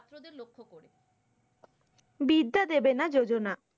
বিদ্যা দেবেনা যোজনা।